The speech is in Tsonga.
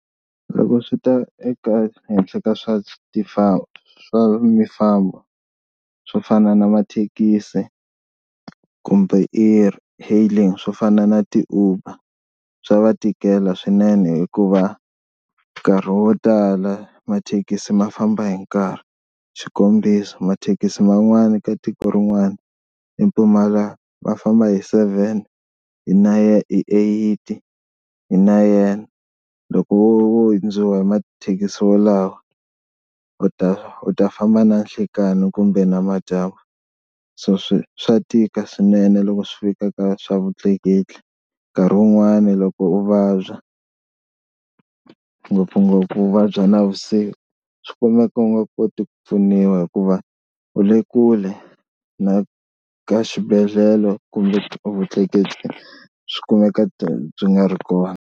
Loko swi ta eka henhla ka swa swa mifambo swo fana na mathekisi kumbe e-hailing swo fana na ti-Uber swa va tikela swinene hikuva nkarhi wo tala mathekisi ma famba hi nkarhi, xikombiso mathekisi man'wani ka tiko rin'wani i kuma ma famba hi seven hi hi eight hi nine, loko wo hundziwa hi mathekisi wolawo u ta u ta famba na nhlekani kumbe namadyambu so swi swa tika swinene loko swi fika ka swa vutleketli. Nkarhi wun'wani loko u vabya ngopfungopfu u vabya navusiku swi kumeka u nga koti ku pfuniwa hikuva u le kule na ka xibedhlele kumbe vutleketli swi kumeka byi nga ri kona.